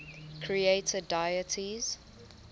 creator deities